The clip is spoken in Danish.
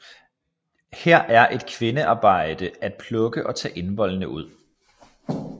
Her er det kvindearbejde at plukke og tage indvoldene ud